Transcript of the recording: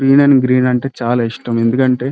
greenery green అంటే చాలా ఇష్టం ఎందుకంటే --